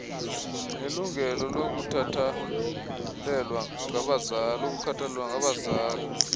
nelungelo lokukhathalelwa ngabazali